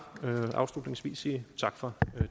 afslutningsvis sige tak for